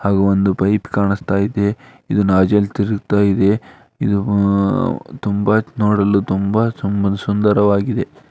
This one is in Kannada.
ಅದು ಒಂದು ಪೈಪ್ ಕಾಣಿಸುತ್ತಾ ಇದೆ ಇದು ನಜಲ್ ತಿರುಗುತ್ತಿದೆ ಇದು ಆ ತುಂಬಾ ನೋಡಲು ತುಂಬಾ ತುಂಬಾನೇ ಸುಂದರವಾಗಿದೆ.